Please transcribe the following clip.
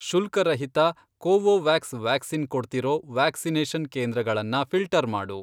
ಶುಲ್ಕರಹಿತ Covovax vaccine ಕೊಡ್ತಿರೋ vaccination ಕೇಂದ್ರಗಳನ್ನ ಫಿ಼ಲ್ಟರ್ ಮಾಡು.